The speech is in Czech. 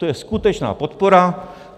To je skutečná podpora.